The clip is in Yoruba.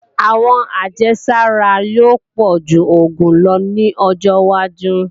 Àwọn ajésára yóò pọ̀ju oògùn lọ ní ọjọwájú